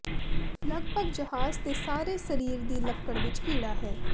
ਲੱਗਭਗ ਜਹਾਜ਼ ਦੇ ਸਾਰੇ ਸਰੀਰ ਦੀ ਲੱਕੜ ਵਿੱਚ ਕੀੜਾ ਹੈ